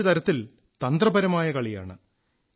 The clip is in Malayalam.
ഇത് ഒരു തരത്തിൽ തന്ത്രപരമായ കളിയാണ്